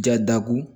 Ja da ko